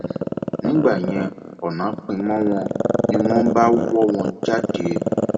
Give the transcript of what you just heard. um nígbẹyìn ọnà pín mọ wọn ni wọn bá wọ wọn um jáde